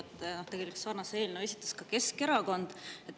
Tegelikult esitas sarnase eelnõu ka Keskerakond.